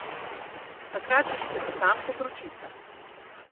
Takrat že šklepetam kot ročica.